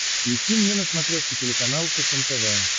включи мне на смотрешке телеканал фэшен тв